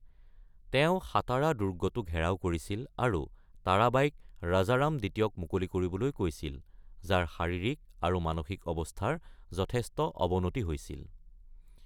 তেওঁ সাতাৰা দুৰ্গটো ঘেৰাও কৰিছিল আৰু তাৰাবাইক ৰাজাৰাম দ্বিতীয়ক মুকলি কৰিবলৈ কৈছিল, যাৰ শাৰীৰিক আৰু মানসিক অৱস্থাৰ যথেষ্ট অৱনতি হৈছিল।